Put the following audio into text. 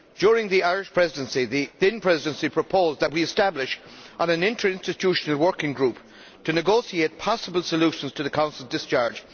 During the Irish Presidency, the then Presidency proposed that we establish an interinstitutional working group to negotiate possible solutions to the Council's discharge.